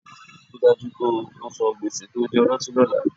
Rí i dájú pé o san gbèsè tí o jẹ ọlọ́tí lọ́la